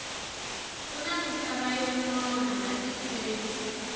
kuna misava yo nona la tikweni